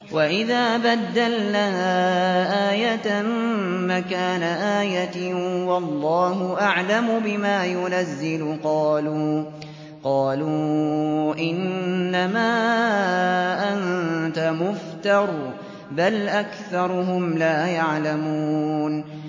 وَإِذَا بَدَّلْنَا آيَةً مَّكَانَ آيَةٍ ۙ وَاللَّهُ أَعْلَمُ بِمَا يُنَزِّلُ قَالُوا إِنَّمَا أَنتَ مُفْتَرٍ ۚ بَلْ أَكْثَرُهُمْ لَا يَعْلَمُونَ